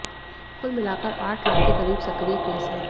कुल मिलाकर आठ लाख के करीब सक्रिय केस हैं